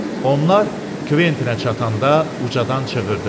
Onlar Kventinə çatanda ucadan çığırdı.